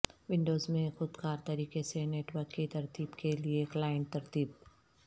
Windows میں خود کار طریقے سے نیٹ ورک کی ترتیب کے لئے کلائنٹ ترتیب